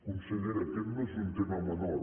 consellera aquest no és un tema menor